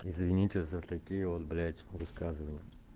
извините за такие вот блять высказывания